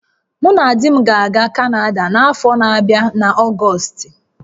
Mụ na di m ga-aga Kanada n'afọ na-abịa n'Ọgọstị